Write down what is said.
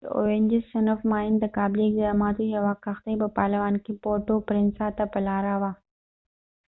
د اوینجز صنف ماین تقابلي اقداماتو یوه کښتۍ په پالوان کې پورټو پرینسا ته په لاره وه